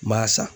N b'a san